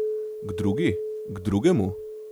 K drugi, k drugemu?